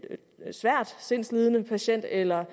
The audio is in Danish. svær sindslidelse eller